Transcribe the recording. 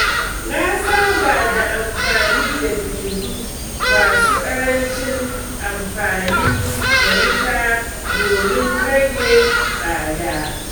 Na saba da amfani da fitilu masu ƙarancin amfani da wuta domin rage tsada.